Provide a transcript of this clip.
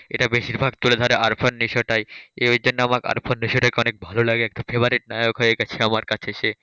এটা বেশিরভাগ তুলে ধরে আরফন নিশোটাই। এই জন্য আমার আরফন নিশোটাকে অনেক ভালো লাগে। একটা favorite নায়ক হয়ে গেছে আমার কাছে সে,